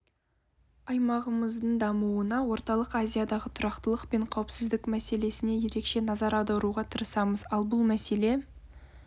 аймағымыздың дамуына орталық азиядағы тұрақтылық пен қауіпсіздік мәселесіне ерекше назар аударуға тырысамыз ал бұл мәселе